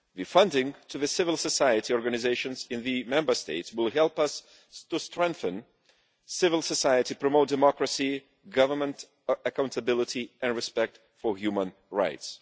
Funding civil society organisations in the Member States will help us strengthen civil society, promote democracy, government accountability and respect for human rights.